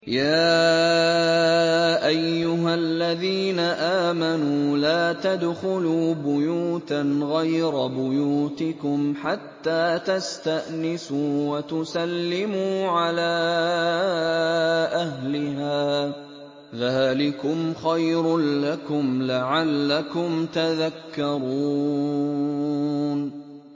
يَا أَيُّهَا الَّذِينَ آمَنُوا لَا تَدْخُلُوا بُيُوتًا غَيْرَ بُيُوتِكُمْ حَتَّىٰ تَسْتَأْنِسُوا وَتُسَلِّمُوا عَلَىٰ أَهْلِهَا ۚ ذَٰلِكُمْ خَيْرٌ لَّكُمْ لَعَلَّكُمْ تَذَكَّرُونَ